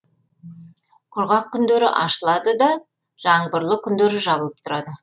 құрғақ күндері ашылады да жаңбырлы күндері жабылып тұрады